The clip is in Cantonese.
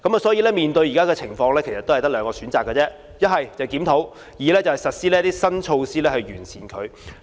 所以，面對現在的情況只有兩個選擇，一是檢討；二是實施新措施以作改善。